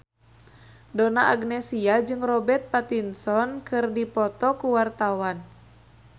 Donna Agnesia jeung Robert Pattinson keur dipoto ku wartawan